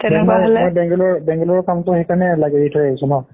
বেংলুৰুৰ কামটো সেইকাৰণে এৰি থৈ আহিছো ন